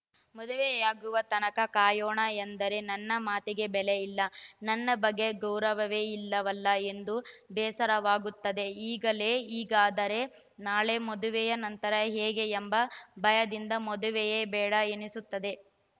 ಮದುವೆಯಾಗುವ ತನಕ ಕಾಯೋಣ ಎಂದರೆ ನನ್ನ ಮಾತಿಗೆ ಬೆಲೆಯಿಲ್ಲ ನನ್ನ ಬಗ್ಗೆ ಗೌರವವೇ ಇಲ್ಲವಲ್ಲಾ ಎಂದು ಬೇಸರವಾಗುತ್ತದೆ ಈಗಲೇ ಹೀಗಾದರೆ ನಾಳೆ ಮದುವೆಯ ನಂತರ ಹೇಗೆ ಎಂಬ ಭಯದಿಂದ ಮದುವೆಯೇ ಬೇಡ ಎನ್ನಿಸುತ್ತಿದೆ